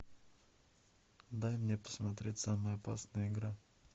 дай мне посмотреть самая опасная игра